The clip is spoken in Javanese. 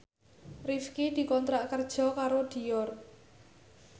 Rifqi dikontrak kerja karo Dior